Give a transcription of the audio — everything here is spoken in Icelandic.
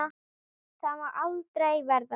Það má aldrei verða.